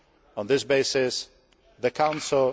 On this basis, the Council